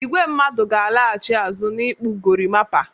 Igwe mmadụ ga-alaghchi azụ n'ikpụ gorimapa.